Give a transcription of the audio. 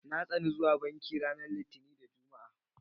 Na tsani zuwa banki ranar Litinin da Juma'a.